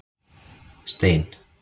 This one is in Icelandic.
Stein